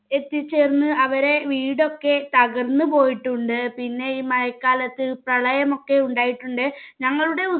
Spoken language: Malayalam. എത്തിച്ചേർന്ന് അവരെ വീടൊക്കെ തകർന്ന് പോയിട്ടുണ്ട് പിന്നെ ഈ മഴക്കാലത്ത് പ്രളയമൊക്കെ ഉണ്ടായിട്ടുണ്ട് ഞങ്ങളുടെ